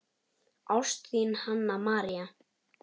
Ást, þín, Hanna María.